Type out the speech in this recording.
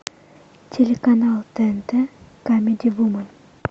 телеканал тнт камеди вумен